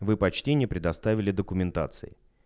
вы почти не предоставили документации